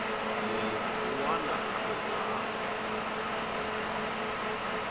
munhu wun wana na wun